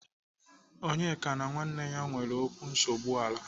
Onyeka na nwanne ya nwere okwu nsogbu ala.